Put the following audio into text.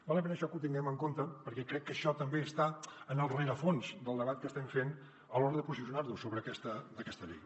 val la pena això que ho tinguem en compte perquè crec que això també està en el rerefons del debat que estem fent a l’hora de posicionar nos sobre aquesta llei